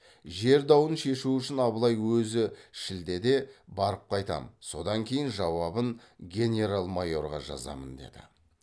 жер дауын шешу үшін абылай өзі шілдеде барып қайтамын содан кейін жауабын генерал майорға жазамын деді